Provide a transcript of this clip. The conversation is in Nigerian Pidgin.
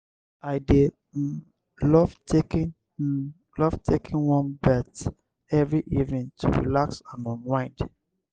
i dey um love taking um love taking warm bath every evening to relax and unwind.